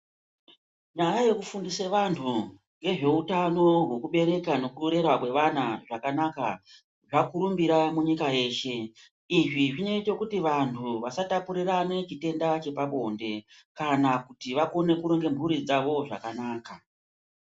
Nyaya yekufundise vanhu nezveutano hwekubereka nekurera kwevana zvakana zvakurumbira munyika yeshe . Izvi zvinoita kuti vanhu vasatapurirana chirwere chepabonde kana kuti vakone kuronga mhuri dzavo zvakana.